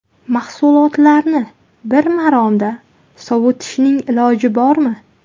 Mahsulotlarni bir maromda sovitishning iloji bormi?